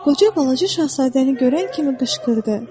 Qoca balaca şahzadəni görən kimi qışqırdı.